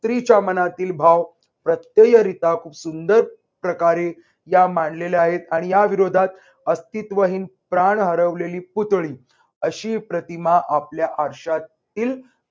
स्त्रीच्या मनातील भाव प्रत्ययरित्या खूप सुंदर प्रकारे या मांडलेल्या आहेत. आणि याविरोधात अस्तित्वहीन प्राण हरवलेली पुतळी. अशी प्रतिमा आपल्या आरशा तील